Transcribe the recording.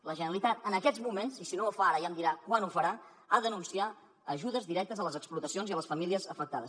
la generalitat en aquests moments i si no ho fa ara ja em dirà quan ho farà ha d’anunciar ajudes directes a les explotacions i a les famílies afectades